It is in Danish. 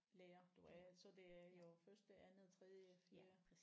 Lærer du er så det er jo første andet tredje fjerde